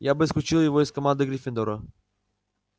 я бы исключил его из команды гриффиндора